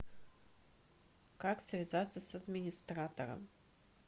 как связаться с администратором